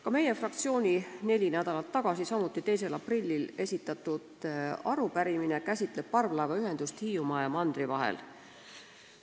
Ka meie fraktsiooni neli nädalat tagasi, samuti 2. aprillil esitatud arupärimine käsitleb parvlaevaühendust Hiiumaa ja mandri vahel.